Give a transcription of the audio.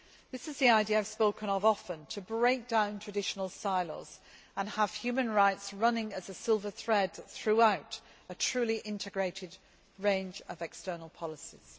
This is the idea I have spoken of often, to break down traditional silos, and have human rights running as a silver thread throughout a truly integrated range of external policies.